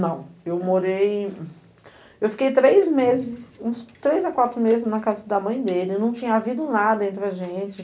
Não, eu morei... Eu fiquei três meses, uns três a quatro meses na casa da mãe dele, não tinha havido nada entre a gente.